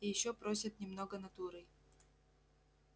и ещё просят немного натурой